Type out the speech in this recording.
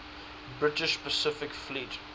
british pacific fleet